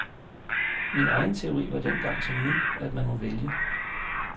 Min egen teori var dengang som nu, at man må vælge.